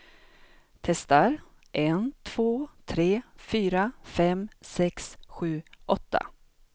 Testar en två tre fyra fem sex sju åtta.